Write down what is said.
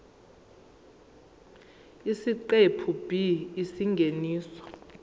isiqephu b isingeniso